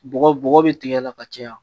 Bɔgɔ bɔgɔ be tigɛ la ka caya